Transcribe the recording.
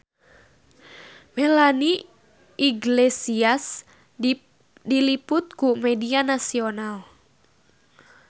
Melanie Iglesias diliput ku media nasional